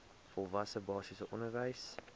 volwasse basiese onderwys